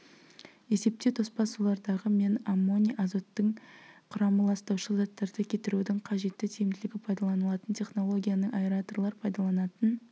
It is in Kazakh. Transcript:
есептеу тоспа сулардағы мен аммоний азоттың құрамы ластаушы заттарды кетірудің қажетті тиімділігі пайдаланылатын технологияның аэраторлар пайдаланатын